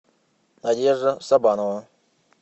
надежда сабанова